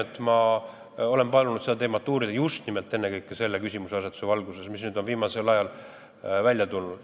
Ja ma olen palunud seda teemat uurida ennekõike selle küsimuseasetuse valguses, mis nüüd viimasel ajal on välja tulnud.